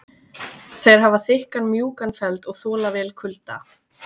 þeir hafa þykkan mjúkan feld og þola vel kulda